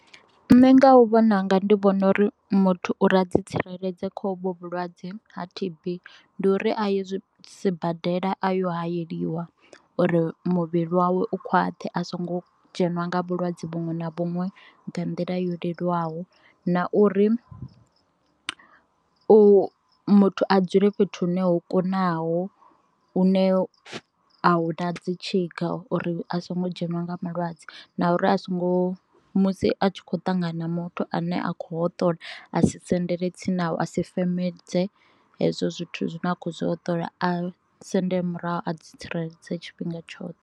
Nṋe nga u vhona unga ndi vhona uri muthu uri a dzi tsireledze kha hovhu vhulwadze ha T_B ndi uri a ye sibadela a yo hayeliwa uri muvhili wawe u khwaṱhe a songo dzheniwa nga vhulwadze vhuṅwe na vhuṅwe nga nḓila yo leluwaho, na uri u muthu a dzule fhethu hune ho kunaho hune a hu na dzi tshika uri a songo dzheniwa nga malwadze, na uri a songo ngo musi a tshi kho ṱangana muthu ane a kho hoṱola a si sendele tsini navho a si fembedze hezwo zwithu zwine a kho hoṱola a sendele murahu a dzi tsireledze tshifhinga tshoṱhe.